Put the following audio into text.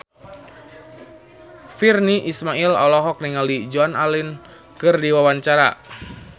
Virnie Ismail olohok ningali Joan Allen keur diwawancara